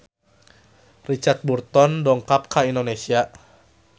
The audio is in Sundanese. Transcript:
Richard Burton dongkap ka Indonesia